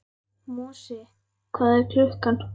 Mosi, hvað er klukkan?